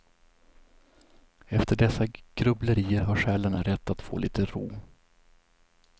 Efter dessa grubblerier har själen rätt att få lite ro.